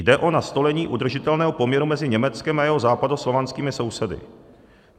Jde o nastolení udržitelného poměru mezi Německem a jeho západoslovanskými sousedy.